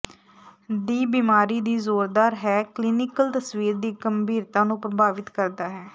ਦੀ ਬਿਮਾਰੀ ਦੀ ਜ਼ੋਰਦਾਰ ਹੈ ਕਲੀਨਿਕਲ ਤਸਵੀਰ ਦੀ ਗੰਭੀਰਤਾ ਨੂੰ ਪ੍ਰਭਾਵਿਤ ਕਰਦਾ ਹੈ